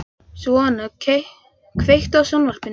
Sveina, kveiktu á sjónvarpinu.